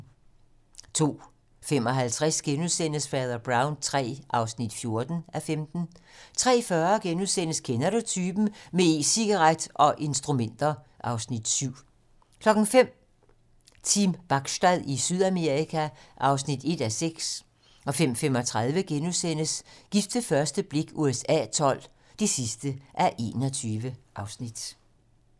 02:55: Fader Brown III (14:15)* 03:40: Kender du typen? - med e-cigaret og instrumenter (Afs. 7)* 05:00: Team Bachstad i Sydamerika (1:6) 05:35: Gift ved første blik USA XII (21:21)*